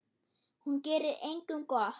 Hún gerir engum gott.